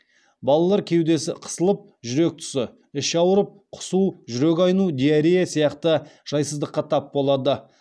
балалар кеудесі қысылып жүрек тұсы іші ауырып құсу жүрек айну диарея сияқты жайсыздыққа тап болады